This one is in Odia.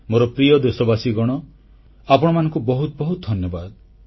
ମୋର ପ୍ରିୟ ଦେଶବାସୀଗଣ ଆପଣମାନଙ୍କୁ ବହୁତ ବହୁତ ଧନ୍ୟବାଦ